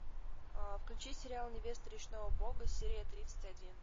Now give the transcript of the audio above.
включи сериал невеста речного бога серия тридцать один